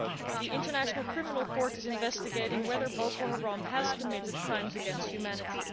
The International Criminal Court is investigating whether Boko Haram has committed crimes against humanity.